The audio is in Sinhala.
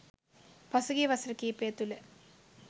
පසුගිය වසර කීපය තුළ